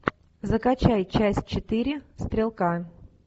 закачай часть четыре стрелка